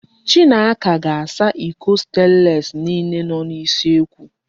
Chinaka ga-asa iko stenlesi niile nọ n'usekwu.